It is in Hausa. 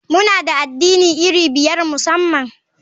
Muna da addini iri biyar musamman.